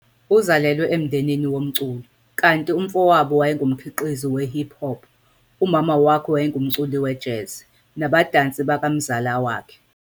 Uzalelwe emndenini womculo, kanti umfowabo wayengumkhiqizi we-hip hop, umama wakhe wayengumculi wejazz, nabadansi bakamzala wakhe.